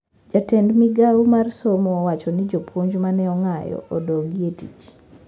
Jatend migao mar somo owacho ni jopuoj mane ong`anyo odogi e tich